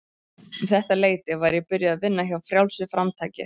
Um þetta leyti var ég byrjuð að vinna hjá Frjálsu framtaki.